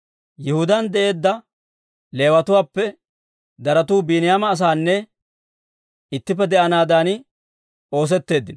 Yihudaan de'eedda Leewatuwaappe daratu Biiniyaama asaana ittippe de'anaadan oosetteeddino.